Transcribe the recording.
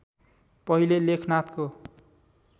पहिले लेखनाथको